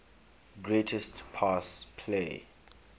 greatest pass play